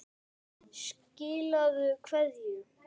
Skilaðu kveðju.